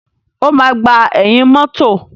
O máa gbà ẹ̀yìn mọ́tọ̀.